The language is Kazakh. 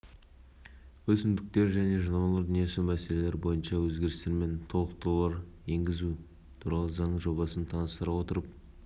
бүгін премьер-министрінің орынбасары ауыл шаруашылығы министрі мырзахметов парламент мәжілісінің пленарлық отырысында қазақстан республикасының кейбір заңнамалық актілеріне